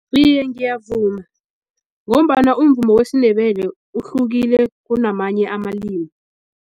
Iye, ngiyavuma ngombana umvumo wesiNdebele uhlukile kunamanye amalimi.